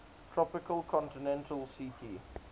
tropical continental ct